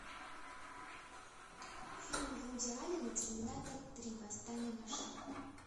фильм вуди аллена терминатор три восстание машин